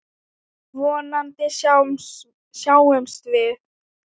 Vonandi sjáumst við.